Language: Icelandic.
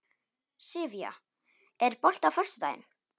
Sivía, er bolti á föstudaginn?